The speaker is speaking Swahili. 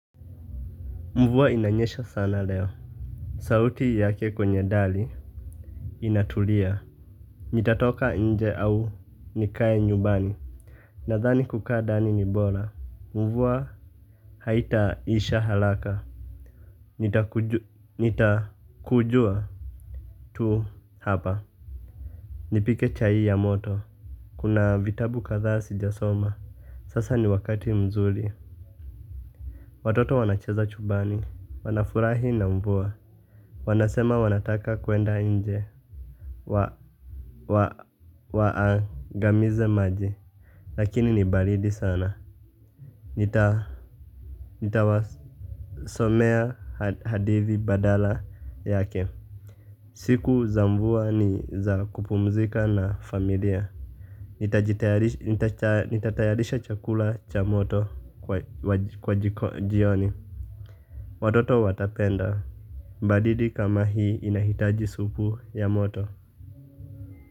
Mvua inanyesha sana leo. Sauti yake kwenye dari Inatulia. Nitatoka nje au nikae nyumbani. Nadhani kukaa ndani ni bora. Mvua haitaisha halaka. Nitakujua tu hapa. Nipike chai ya moto. Kuna vitabu katha sijasoma. Sasa ni wakati mzuri. Watoto wanacheza chumbani. Wanafurahi na mvua. Wanasema wanataka kuenda nje. Waangamize maji. Lakini ni balidi sana. Nitawasomea hadithi badala yake. Siku za mvua ni za kupumzika na familia. Nitatayarisha chakula cha moto kwa jioni. Watoto watapenda badidi kama hii inahitaji supu ya moto.